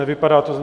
Nevypadá to.